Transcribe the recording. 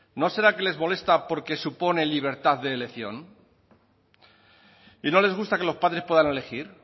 no será que les molesta porque supone libertad de elección y no les gusta que los padres puedan elegir